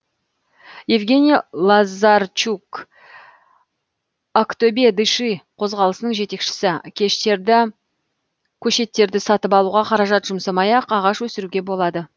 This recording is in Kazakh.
евгений лазарчук актобе дыши қозғалысының жетекшісі көшеттерді сатып алуға қаражат жұмсамай ақ ағаш өсіруге болады